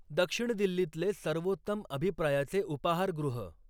दक्षिण दिल्लीतले सर्वोत्तम अभिप्रायाचे उपाहारगृह